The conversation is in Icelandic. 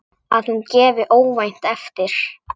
Að hún gefi óvænt eftir.